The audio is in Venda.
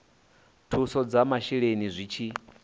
thuso dza masheleni zwi tshi